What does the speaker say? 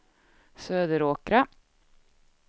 Söderåkra